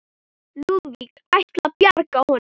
Lúðvík ætlað að bjarga honum.